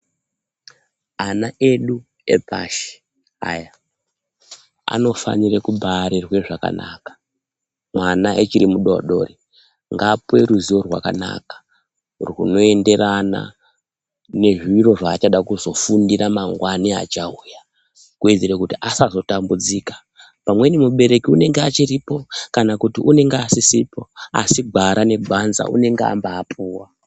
Ana edu epashi aya anofanire kubarerwe zvakanaka, mwana achiri mudodori ngapuwe ruziwo rwakanaka rwunoenderana nezviro zvachada kuzofundira mangwana achauya kuwedzere kuti asazotambudzika. Pamweni mubereki unenge achiripo kana kuti unenge asisipo asi gwara negwanza unenge ambapuwa.